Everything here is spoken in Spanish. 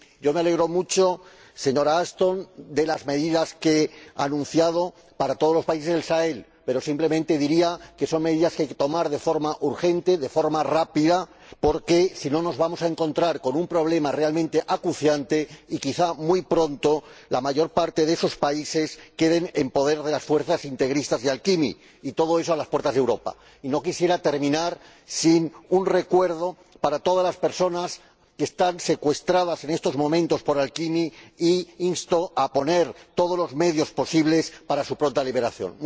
Yo me alegro mucho, señora Ashton, de las medidas que ha anunciado para todos los países del Sahel, pero simplemente diría que son medidas que hay que tomar de forma urgente, de forma rápida porque, si no, nos vamos a encontrar con un problema realmente acuciante y quizás muy pronto la mayor parte de esos países queden en poder de las fuerzas integristas de AQMI, y todo eso a las puertas de Europa. Y no quisiera terminar sin un recuerdo para todas las personas que están secuestradas en estos momentos por AQMI e insto a poner todos los medios posibles para su pronta liberación.